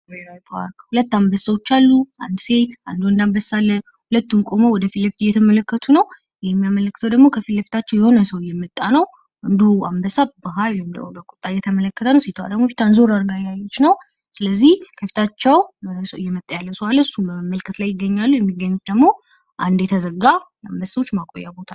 ብሔራዊ ፓርክ ሁለት አንበሶች አሉ። አንድ ሴት አንድ ወንድ አንበሳ አለ። ሁለቱም ቆመው ወደፊት እየተመለከቱ ነው። ይህ የሚያመለክተው ደግሞ ከፊት ለፊታቸው የሆነ ሰው እየመጣ ነው። ወንዱ አንበሳ በኃይል እንደው በቁጣ እየተመለከተ ነው ሴቷ ደግሞ ፊቷን ዞር አድርጋ እየተመለከተች ነው። ስለዚህ ከፊታቸው እየመጣ ያለው ሰው መመልከት ላይ ይገኛሉ። የሚገኙት ደግሞ አንደ የተዘጋ አንበሶች ማቆያ ቦታ ነው።